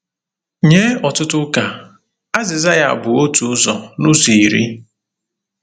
Nye ọtụtụ ụka, azịza ya bụ otu ụzọ n'ụzọ iri.